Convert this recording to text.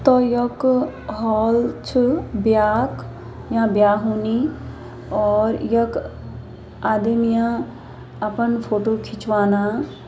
त यक हॉल छ ब्याक यहाँ ब्या होनी और यख आदिम या अपन फोटो खिंचवाना।